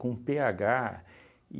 Com pê agá